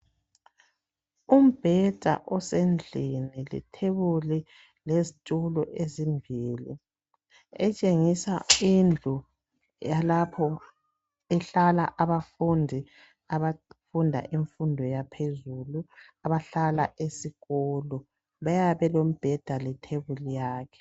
Umbheda osendlini, lethebuli lezitulo ezimbili, etshengisa indlu yalapho ehlala abafundi abafunda imfundo yaphezulu abahlala esikolo, bayabe belombheda lethebuli yabo.